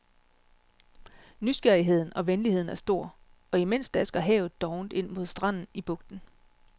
Nysgerrigheden og venligheden er stor og imens dasker havet dovent ind mod stranden i bugten.